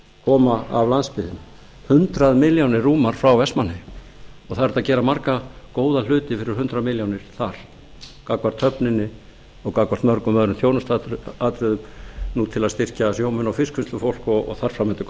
koma af landsbyggðinni hundrað milljónir rúmar frá vestmannaeyjum og það er hægt að gera marga góða hluti fyrir hundrað milljónir þar gagnvart höfninni og gagnvart mörgum öðrum þjónustuatriði til að styrkja sjómenn og fiskvinnslufólk og þar fram